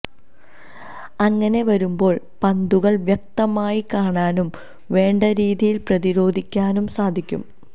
അങ്ങനെ വരുമ്പോൾ പന്തുകൾ വ്യക്തമായി കാണാനും വേണ്ടരീതിയിൽ പ്രതിരോധിക്കാനും സാധിക്കും